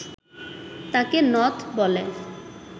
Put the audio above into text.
তাকে নথ বলে